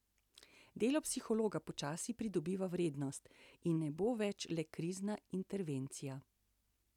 Delo psihologa počasi pridobiva vrednost in ne bo več le krizna intervencija.